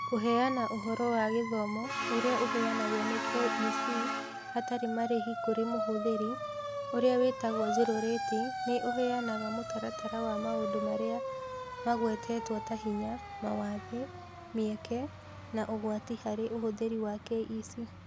Kũheana ũhoro wa gĩthomo ũrĩa ũheanagwo nĩ KEC hatarĩ marĩhi kũrĩ mũhũthĩri, ũrĩa wĩtagwo zero-rating nĩ ũheanaga mũtaratara wa maũndũ marĩa magwetetwo ta hinya, mawathe, mĩeke, na ũgwati harĩ ũhũthĩri wa KEC.